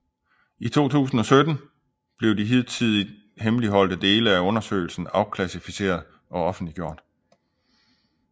I 2017 blev de hidtidigt hemmeligholdte dele af undersøgelsen afklassificeret og offentliggjort